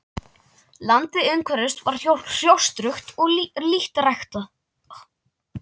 Landið umhverfis var hrjóstrugt og lítt ræktað.